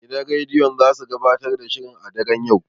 Gidan rediyon zasu gabatar da shirin a daren yau.